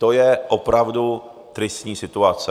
To je opravdu tristní situace!